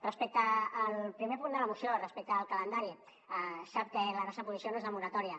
respecte al primer punt de la moció respecte al calendari sap que la nostra posició no és de moratòria